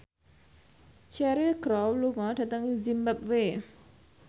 Cheryl Crow lunga dhateng zimbabwe